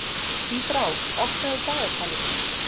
Tíbrá, opnaðu dagatalið mitt.